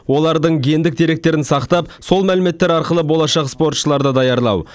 олардың гендік деректерін сақтап сол мәліметтер арқылы болашақ спортшыларды даярлау